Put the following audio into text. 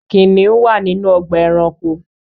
Kiniun wa ninu ogba éranko.